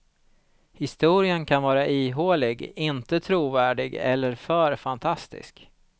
Historien kan vara ihålig, inte trovärdig eller för fantastisk.